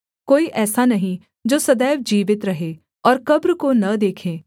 कोई ऐसा नहीं जो सदैव जीवित रहे और कब्र को न देखे